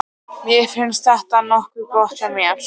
Mér fannst þetta nokkuð gott hjá mér.